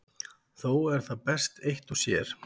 Þó er það best eitt og sér.